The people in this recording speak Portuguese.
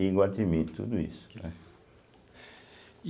Iguatimi, tudo isso, né.